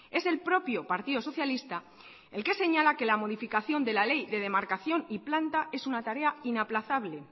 es el propio partido socialista el que señala que la modificación de la ley de demarcación y planta es una tarea inaplazable